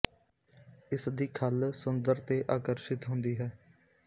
ਇਸ ਦੀ ਖੱਲ ਸੁੰਦਰ ਤੇ ਆਕਰਸ਼ਿਤ ਹੁੰਦੀ ਹੈ